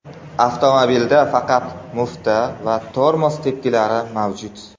Avtomobilda faqat mufta va tormoz tepkilari mavjud.